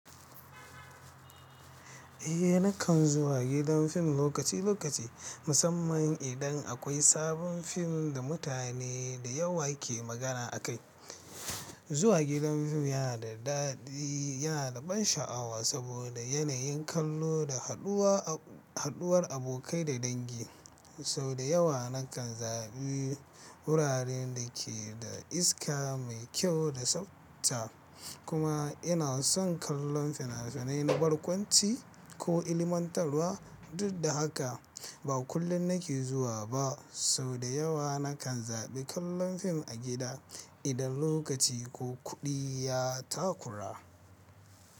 Eh nakan zuwa gidan fim lokaci lokaci, musamman idan akwai sabon fim da mutane da yawa ke magana a kai. Zuwa gidan fim yana da daɗi, yana da ban sha'awa saboda yanayin kallo da haɗuwar abokai da dangi. Sau da yawa nakan zaɓi wuraren da ke da iska mai kyau da tsafta. Kuma ina son kallon fina-finai na barkwanci ko ilmantarwa. Duk da haka, ba kullum nake zuwa ba. Sau da yawa nakan zaɓi kallon fim a gida idan lokaci ko kuɗi ya takura.